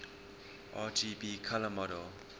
rgb color model